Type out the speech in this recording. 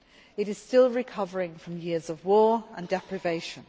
It is still recovering from years of war and deprivation.